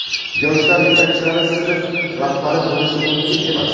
yoshlar yetakchilari sinf rahbari bo‘lishi mumkin emas.